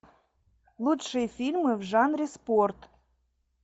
лучшие фильмы в жанре спорт